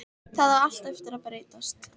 Það á allt eftir að breytast!